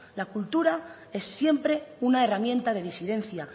la cultura es siempre una herramienta de disidencia